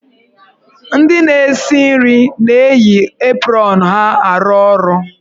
Ndị na-esi nri na-eyi aprọnụ ha arụ ọrụ.